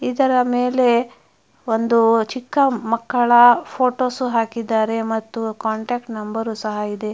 ಇದರ ಮೇಲೆ ಒಂದು ಚಿಕ್ಕ ಮಕ್ಕಳ ಫೋಟೋಸ್ ಹಾಕಿದ್ದಾರೆ ಮತ್ತು ಕಾಂಟಾಕ್ಟ್ ನಂಬರು ಸಹ ಇದೆ.